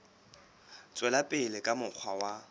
tswela pele ka mokgwa wa